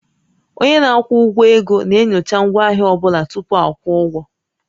Onye na-akwụ ụgwọ ego na-enyocha ngwaahịa ọ bụla tupu a kwụọ ụgwọ